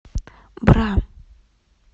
бра